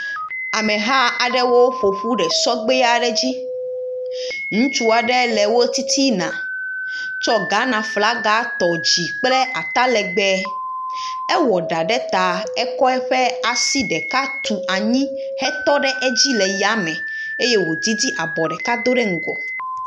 Ameha aɖewo ƒoƒu le sɔgbe aɖe dzi, ŋutsu aɖe le wo titina, tsɔ Ghanaflaga tɔ dzi kple atalegbe ewɔ ɖa ɖe ta eye wòasi ɖeka tu anyi hetɔ ɖe edzi le yame eye wodzidzi abɔ ɖe ŋgɔ.